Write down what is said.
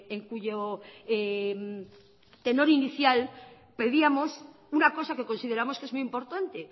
en cuyo tenor inicial pedíamos una cosa que consideramos que es muy importante